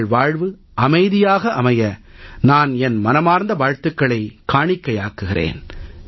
உங்கள் வாழ்வு அமைதியாக அமைய நான் என் மனமார்ந்த வாழ்த்துகளைக் காணிக்கையாக்குகிறேன்